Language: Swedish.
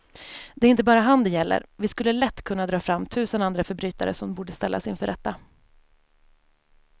Det är inte bara han det gäller, vi skulle lätt kunna dra fram tusen andra förbrytare som borde ställas inför rätta.